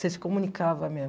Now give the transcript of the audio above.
Você se comunicava mesmo.